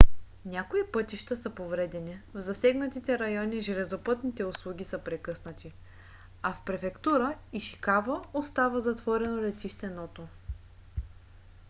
някои пътища са повредени в засегнатите райони железопътните услуги са прекъснати а в префектура ишикава остава затворено летище ното